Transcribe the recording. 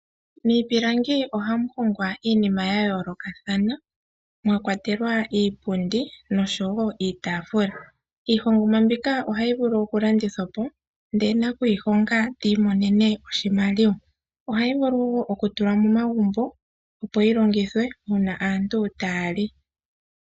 Miipilangi ohamu hongwa iinima yayoolokathana mwakwatelwa iipundi osho woo iitafula. Iihongomwa mbika ohayi vulu okulandithwapo ndee nakuyihonga tiimonene oshimaliwa ohayi vulu okutulwa momagumbo opo yilongithe uuna aantu taya li.